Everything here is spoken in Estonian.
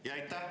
Aitäh!